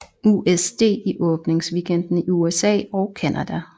USD i åbningsweekenden i USA og Canada